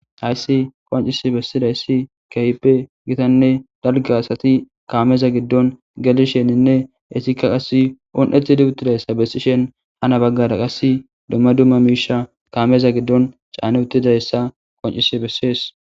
Hayssi qoncis bessida issi kehpe gitanne dalga asati kaameza giddon gelisheninne esikka qass un,eti di uttidayssa bessishen hana baggara qass dumma dumma miisha kaameza giddon caane uttidayssa qoncisi bessees.